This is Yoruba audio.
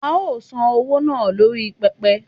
a o san owo naa lori pepe